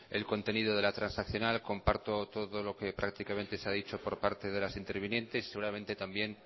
el contenido de la transaccional comparto todo lo que prácticamente se ha dicho por parte de las intervinientes y seguramente también